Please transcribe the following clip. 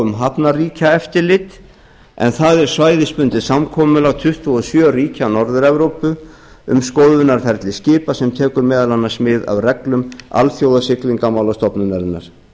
um hafnarríkjaeftirlit en það er svæðisbundið samkomulag tuttugu og sjö ríkja norður evrópu um skoðunarferli skipa sem tekur meðal annars mið af reglum alþjóðasiglingamálastofnunarinnar